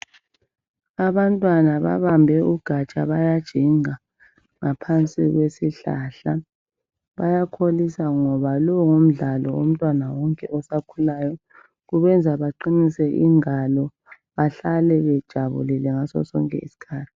Abantwana babambe ugatsha bayajinga ngaphansi kwesihlahla bayakholisa ngoba lowu ngumdlalo womtwana wonke osakhulayo kubenza baqinise ingalo behlale bejabulile ngaso sonke iskhathi